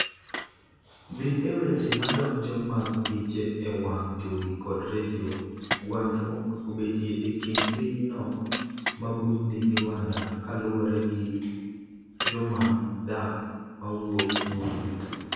dhi e weche madonjo mag piche e wang' jowi kod redio gwandruok obetie e kind piny no ma Burundi gi Rwanda kaluwre gi jomany dak mowuok Burundi